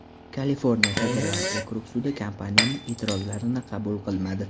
Kaliforniya federal okrug sudi kompaniyaning e’tirozlarini qabul qilmadi.